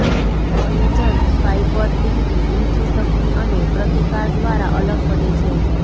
collagen fibre તેમની ઊંચી શક્તિ અને પ્રતિકાર દ્વારા અલગ પડે છે